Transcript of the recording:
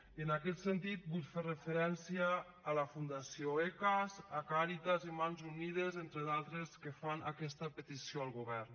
i en aquest sentit vull fer referència a la fundació ecas a càritas i a mans unides entre d’altres que fan aquesta petició al govern